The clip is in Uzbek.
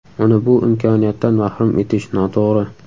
Uni bu imkoniyatdan mahrum etish noto‘g‘ri.